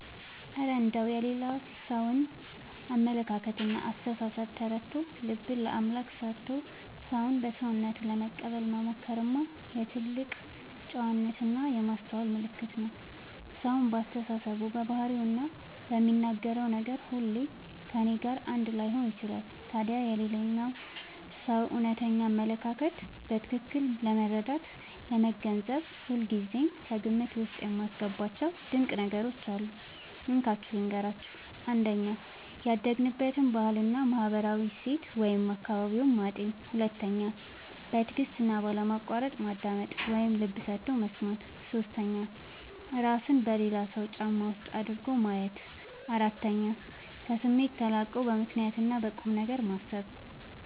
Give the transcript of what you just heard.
እረ እንደው የሌላ ሰውን አመለካከትና አስተሳሰብ ተረድቶ፣ ልብን ለአምላክ ሰጥቶ ሰውን በሰውነቱ ለመቀበል መሞከርማ የትልቅ ጨዋነትና የማስተዋል ምልክት ነው! ሰው በአስተሳሰቡ፣ በባህሪውና በሚናገረው ነገር ሁሉ ከእኔ ጋር አንድ ላይሆን ይችላል። ታዲያ የሌላውን ሰው እውነተኛ አመለካከት በትክክል ለመረዳትና ለመገንዘብ ሁልጊዜ ከግምት ውስጥ የማስገባቸው ድንቅ ነገሮች አሉ፤ እንካችሁ ልንገራችሁ - 1. ያደገበትን ባህልና ማህበራዊ እሴት (አካባቢውን) ማጤን 2. በትዕግስትና ባለማቋረጥ ማዳመጥ (ልብ ሰጥቶ መስማት) 3. እራስን በሌላው ሰው ጫማ ውስጥ አድርጎ ማየት 4. ከስሜት ተላቆ በምክንያትና በቁምነገር ማሰብ